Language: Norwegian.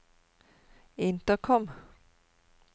intercom